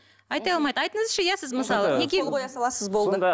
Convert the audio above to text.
айта алмайды айтыңызшы иә сіз мысалы неге қол қоя саласыз болды